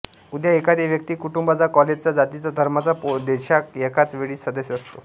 उदा एखादे व्यक्ती कुटूंबाचा काॅलेजचा जातीचा धर्माचा देषाख एकाच वेळी सदस्य असतो